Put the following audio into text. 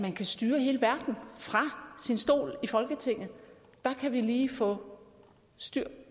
man kan styre hele verden fra sin stol i folketinget der kan vi lige få styr